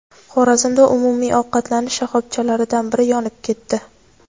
Xorazmda umumiy ovqatlanish shoxobchalaridan biri yonib ketdi.